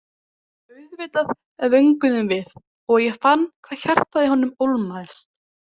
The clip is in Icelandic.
Auðvitað vönguðum við og ég fann hvað hjartað í honum ólmaðist.